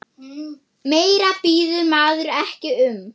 Meira biður maður ekki um.